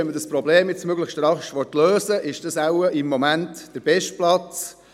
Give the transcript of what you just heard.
Wenn man das Problem jetzt möglichst rasch lösen will, ist das im Moment wohl der beste Platz.